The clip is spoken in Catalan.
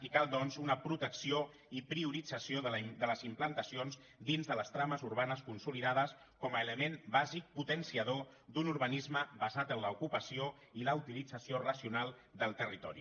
i cal doncs una protecció i priorit·zació de les implantacions dins de les trames urbanes consolidades com a element bàsic potenciador d’un urbanisme basat en l’ocupació i la utilització racional del territori